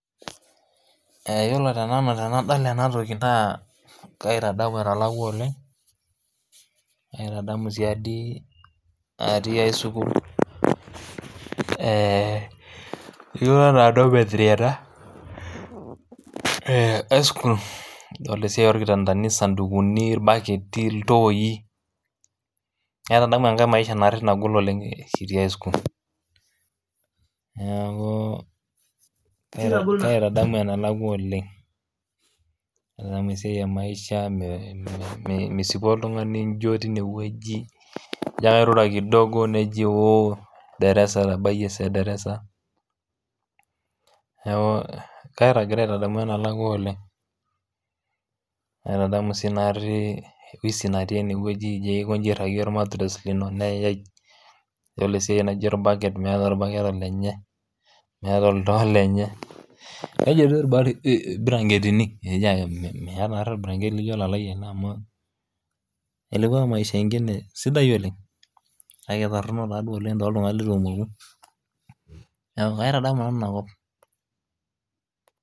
Eh yiolo te nanu tenadol enatoki naa kaitadamu enalakua oleng kaitadamu siadi atii ae sukuul eh etiu enaa dormitory ena eh aeskul idolta esiai orkitandani isandukuni irbaketi iltoi naitadamu enkae maisha narri nagol oleng kitii aeskul niaku kaitadamu enalakua oleng aitadamu esiai e maisha me mi misipu oltung'ani injio tinewueji ijo ake airura kidogo neji woo derasa etabayie esaa ederasa niaku ke kagira aitadamu enelakua oleng naitadamu sii naarri wisi natii enewueji ijio ake aikonji airragie ormatires lino neyae idol esiai naijio orbaket meeta orbaket olenye meeta oltoo olenye nejia irba irbiranketini eijo ake meeta naarri orbiranketi lijio olalai ele amu ilikua maisha ingine sidai oleng kake itorrono taa duo oleng toltung'anak letu emoku niaku kaitadamu nanu inakop.